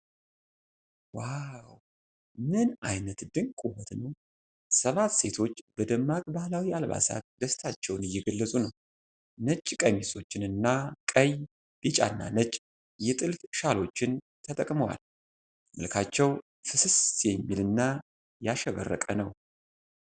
ዋው! ምን አይነት ድንቅ ውበት ነው! ሰባት ሴቶች በደማቅ ባህላዊ አልባሳት ደስታቸውን እየገለጹ ነው። ነጭ ቀሚሶችን እና ቀይ፣ ቢጫና ነጭ የጥልፍ ሻሎችን ተጠቅመዋል። መልካቸው ፍስስ የሚል እና ያሸበረቀ ነው።